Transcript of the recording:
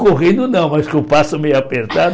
Correndo não, mas com o passo meio apertado.